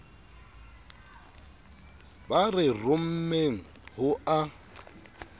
ba re rommeng ho a